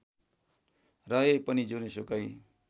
रहे पनि जुनसुकै